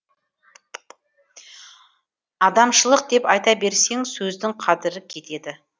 адамшылық деп айта берсең сөздің қадірі кетеді